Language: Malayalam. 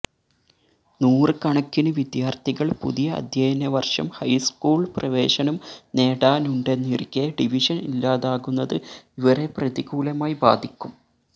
നൂറ് കണക്കിന് വിദ്യാര്ത്ഥികള് പുതിയ അധ്യയന വര്ഷം ഹൈസ്കൂള് പ്രവേശനം നേടാനുണ്ടെന്നിരിക്കെ ഡിവിഷന് ഇല്ലാതാകുന്നത് ഇവരെ പ്രതികൂലമായി ബാധിക്കും